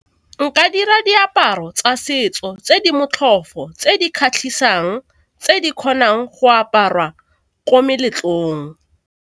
Nka dira diaparo tsa setso tse di motlhofo, tse di kgatlhisang tse di kgonang go aparwa ko meletlong.